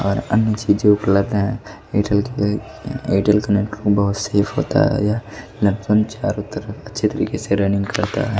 और अन्य चीजों को लाते हैं एयरटेल के एयरटेल का नेट बहोत सेफ होता है यह नेटवन चारों तरफ अच्छे तरीके से रनिंग करता है।